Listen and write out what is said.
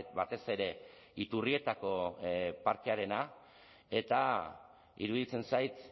batez ere iturrietako parkearena eta iruditzen zait